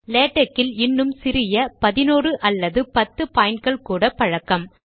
LaTeX இல் இன்னும் சிறிய 11 அல்லது 10 பாய்ன்ட்கள் கூட பழக்கம்